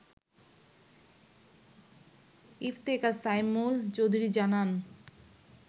ইফতেখার সাইমুল চৌধুরী জানান